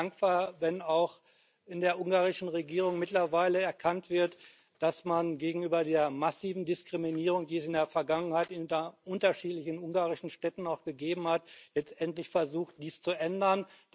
Ich bin ja dankbar, wenn auch in der ungarischen Regierung mittlerweile erkannt wird, dass man gegenüber der massiven Diskriminierung, die es in der Vergangenheit in unterschiedlichen ungarischen Städten gegeben hat, endlich versucht, dies zu ändern.